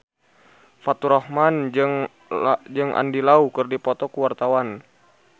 Faturrahman jeung Andy Lau keur dipoto ku wartawan